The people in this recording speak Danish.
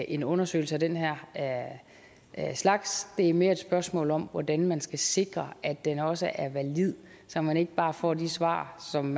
en undersøgelse af den her slags det er mere et spørgsmål om hvordan man skal sikre at den også er valid så man ikke bare får de svar som